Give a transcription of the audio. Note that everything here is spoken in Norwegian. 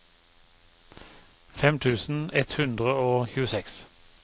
fem tusen ett hundre og tjueseks